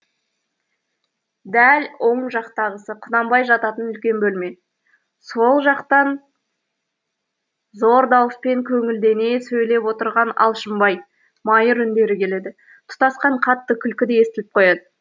дәл оң жақтағысы құнанбай жататын үлкен бөлме сол жақтан зор дауыспен көңілдене сөйлеп отырған алшынбай майыр үндері келеді тұтасқан қатты күлкі де естіліп қояды